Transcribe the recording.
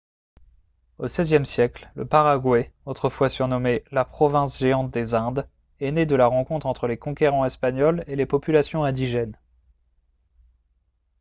au xvie siècle le paraguay autrefois surnommé « la province géante des indes » est né de la rencontre entre les conquérants espagnols et les populations indigènes